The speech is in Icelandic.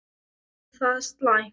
Er það slæmt?